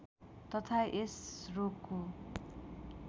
तथा यस रोगको